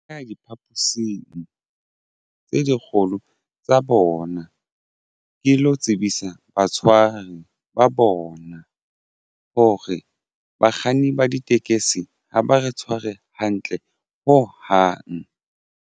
Nka ya diphaposing tse dikgolo tsa bona ke lo tsebisa batshwari ba bona hore bakganni ba ditekesi ha ba re tshware hantle ho hang.